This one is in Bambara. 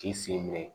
K'i sen bɛ